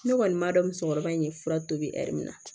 Ne kɔni b'a dɔn musokɔrɔba in ye fura tobi ɛri la